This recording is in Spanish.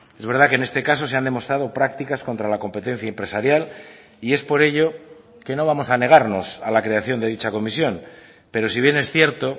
es verdad que en este caso se han demostrado prácticas contra la competencia empresarial y es por ello que no vamos a negarnos a la creación de dicha comisión pero si bien es cierto